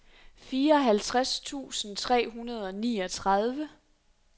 fireoghalvtreds tusind tre hundrede og niogtredive